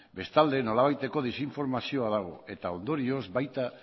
bestalde nolabaiteko desinformazioa dago eta ondorioz baita